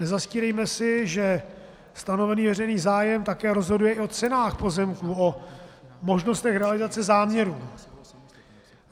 Nezastírejme si, že stanovený veřejný zájem také rozhoduje i o cenách pozemků, o možnostech realizace záměrů.